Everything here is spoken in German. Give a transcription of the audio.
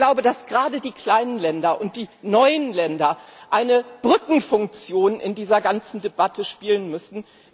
Ich glaube, dass gerade die kleinen Länder und die neuen Länder eine Brückenfunktion in dieser ganzen Debatte spielen müssen.